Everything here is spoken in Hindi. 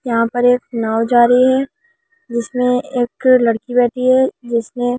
यहां पर एक नाव जा रही है जिसमें एक लड़की बैठी है जिसने।